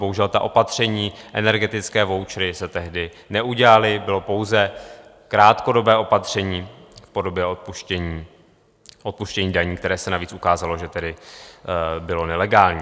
Bohužel ta opatření, energetické vouchery se tehdy neudělaly, bylo pouze krátkodobé opatření v podobě odpuštění daní, které se navíc ukázalo, že tedy bylo nelegální.